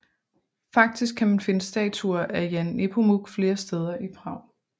Faktisk kan man finde statuer af Jan Nepomuk flere steder i Prag